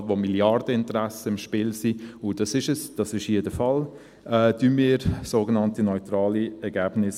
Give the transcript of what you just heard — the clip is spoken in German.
Überall, wo Milliardeninteressen im Spiel sind – und das ist hier der Fall –, hinterfragen wir sogenannte neutrale Ergebnisse.